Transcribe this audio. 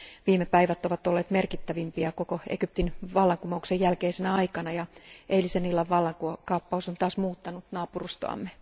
Viime päivät ovat olleet merkittävimpiä koko Egyptin vallankumouksen jälkeisenä aikana, ja eilisen illan vallankaappaus on taas muuttanut naapurustoamme.